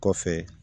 Kɔfɛ